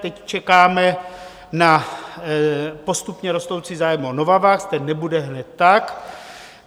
Teď čekáme na postupně rostoucí zájem o Novavax, ten nebude hned tak.